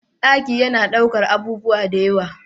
Ɗaki yana ɗaukan abubuwa dayawa